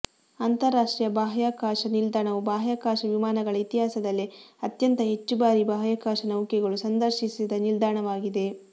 ಅಂತರರಾಷ್ಟ್ರೀಯ ಬಾಹ್ಯಾಕಾಶ ನಿಲ್ದಾಣವು ಬಾಹ್ಯಾಕಾಶ ವಿಮಾನಗಳ ಇತಿಹಾಸದಲ್ಲೇ ಅತ್ಯಂತ ಹೆಚ್ಚು ಬಾರಿ ಬಾಹ್ಯಾಕಾಶ ನೌಕೆಗಳು ಸಂದರ್ಶಿಸಿದ ನಿಲ್ದಾಣವಾಗಿದೆ